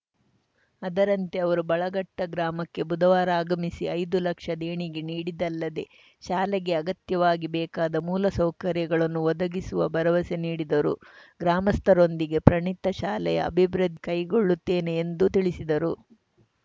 ಅದರಂತೆ ಅವರು ಬಳಘಟ್ಟಗ್ರಾಮಕ್ಕೆ ಬುಧವಾರ ಆಗಮಿಸಿ ಐದು ಲಕ್ಷ ದೇಣಿಗೆ ನೀಡಿದ್ದಲ್ಲದೇ ಶಾಲೆಗೆ ಅಗತ್ಯವಾಗಿ ಬೇಕಾದ ಮೂಲ ಸೌಕರ್ಯಗಳನ್ನು ಒದಗಿಸುವ ಭರವಸೆ ನೀಡಿದರು ಗ್ರಾಮಸ್ಥರೊಂದಿಗೆ ಪ್ರಣೀತಾ ಶಾಲೆಯ ಅಭಿವೃದ್ಧಿ ಕೈಗೊಳ್ಳುತ್ತೇನೆ ಎಂದು ತಿಳಿಸಿದರು